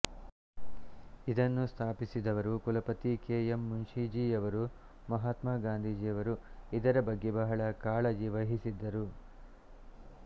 ಇದನ್ನು ಸ್ಥಾಪಿಸಿದವರು ಕುಲಪತಿ ಕೆ ಎಂ ಮುನ್ಷೀಜಿಯವರು ಮಹಾತ್ಮ ಗಾಂಧೀಜಿಯವರು ಇದರ ಬಗ್ಗೆ ಬಹಳ ಕಾಳಜಿ ವಹಿಸಿದ್ದರು